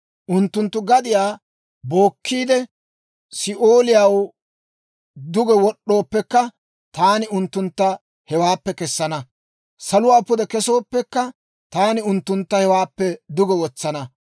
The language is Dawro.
Unttunttu gadiyaa bookkiide, Si'ooliyaw duge wod'd'ooppekka, taani unttuntta hewaappe kessana. Saluwaa pude kesooppekka, taani unttuntta hewaappe duge wotsana.